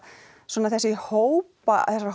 svona þessi hópa þessar